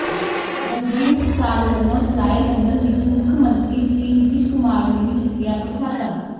ਦਮਦਮੀ ਟਕਸਾਲ ਵੱਲੋਂ ਚਲਾਏ ਲੰਗਰ ਵਿੱਚ ਮੁੱਖ ਮੰਤਰੀ ਸ੍ਰੀ ਨਿਤੀਸ਼ ਕੁਮਾਰ ਨੇ ਵੀ ਛਕਿਆ ਪ੍ਰਸ਼ਾਦਾ